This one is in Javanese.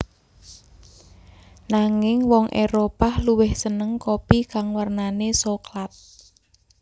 Nanging wong Éropah luwih seneng kopi kang wernane soklat